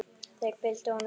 Þeir fylgdu honum eftir.